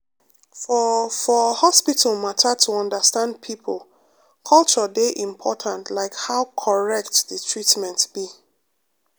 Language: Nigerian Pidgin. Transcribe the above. for for hospital matter to understand people culture dey important like how correct the treatment be.